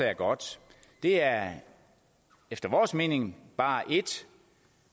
er godt det er efter vores mening bare et